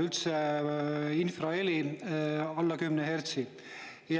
üldse infraheli alla 10 hertsi.